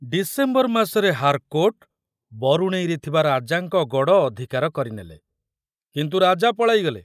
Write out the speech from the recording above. December ମାସରେ Harcourt ବରୁଣେଇରେ ଥିବା ରାଜାଙ୍କ ଗଡ଼ ଅଧିକାର କରିନେଲେ, କିନ୍ତୁ ରାଜା ପଳାଇଗଲେ।